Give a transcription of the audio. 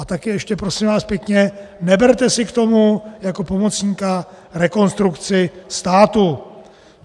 A také ještě, prosím vás pěkně, neberte si k tomu jako pomocníka Rekonstrukci státu!